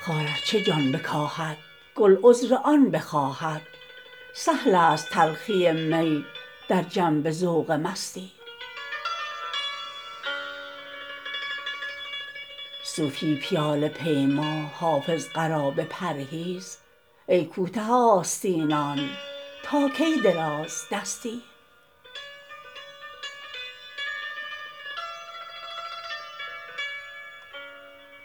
خار ار چه جان بکاهد گل عذر آن بخواهد سهل است تلخی می در جنب ذوق مستی صوفی پیاله پیما حافظ قرابه پرهیز ای کوته آستینان تا کی درازدستی